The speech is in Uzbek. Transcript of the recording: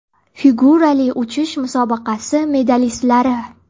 Figurali uchish musobaqasi medalistlari.